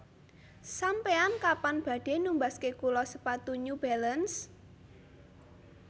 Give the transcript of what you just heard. Sampean kapan badhe numbasaken kula sepatu New Balance